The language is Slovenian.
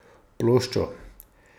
Ploščo?